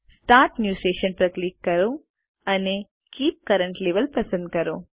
start new session પર click કરો અને કીપ કરન્ટ લેવેલ પસંદ કરો